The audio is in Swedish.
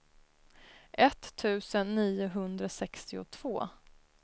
etttusen niohundrasextiotvå